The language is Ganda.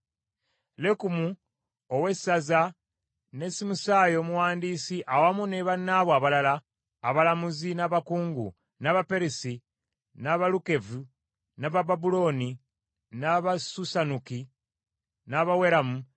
Lekumu ow’essaza ne Simusaayi omuwandiisi awamu ne bannaabwe abalala, abalamuzi n’abakungu, n’Abaperusi, n’Abalukevi, n’Abababulooni, n’Abasusanuki, n’Abaweramu,